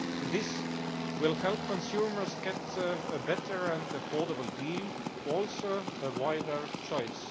This will help consumers get a better and affordable deal, also a wider choice.